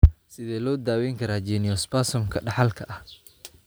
Sidee loo daweyn karaa geniospasm-ka dhaxalka ah?